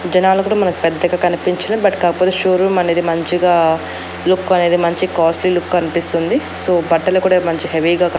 జనాలు గూడ మనకు పెద్దగా కనిపించలే బట్ కాకపోతే షో రూమ్ అనేది మంచిగా లుక్ అనేది మంచిగా కాస్ట్లీ లుక్ కనిపిస్తుంది. సో బట్టలు కూడా మంచిగా హెవీ గా కన్ --